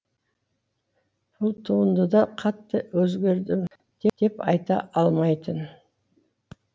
бұл туындыда қатты өзгердім деп айта алмайтын